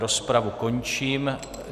Rozpravu končím.